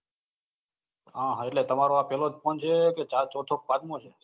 હા હા એટલે તમારો આ પેલો જ ફોન છે કે ચોથો પાંચમો છે.